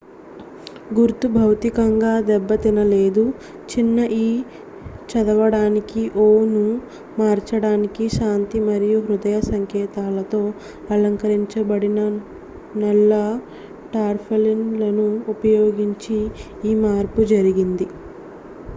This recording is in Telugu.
"గుర్తు భౌతికంగా దెబ్బతినలేదు; చిన్న "ఇ" చదవడానికి "ఓ" ను మార్చడానికి శాంతి మరియు హృదయ సంకేతాలతో అలంకరించబడిన నల్ల టార్పాలిన్‌లను ఉపయోగించి ఈ మార్పు జరిగింది.